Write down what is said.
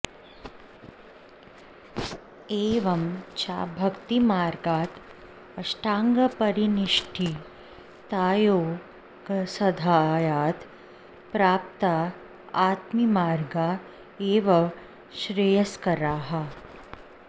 एवं च भक्तिमार्गात् अष्टाङ्गपरिनिष्ठि तयोगसाध्यात् प्रपत्तिमार्ग एव श्रेयस्करः